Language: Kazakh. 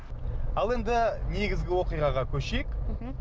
ал енді негізгі оқиғаға көшейік мхм